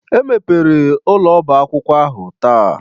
E mepere ụlọ ọba akwụkwọ ahụ taa.